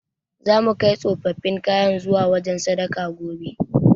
Zamu kai tsofaffin kayan zuwa wajen sadaka, gobe.